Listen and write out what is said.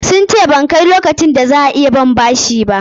Sun ce ban kai lokacin da za a iya ban bashi ba.